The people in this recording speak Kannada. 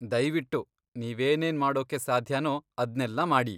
ದಯ್ವಿಟ್ಟು ನೀವೇನೇನ್ ಮಾಡೋಕ್ಕೆ ಸಾಧ್ಯನೋ ಅದ್ನೆಲ್ಲಾ ಮಾಡಿ.